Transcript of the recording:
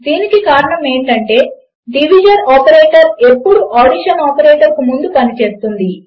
దీనికి కారణము ఏమిటంటే డివిషన్ ఆపరేటర్ ఎప్పుడు అడిషన్ ఆపరేటర్కు ముందు పనిచేస్తుంది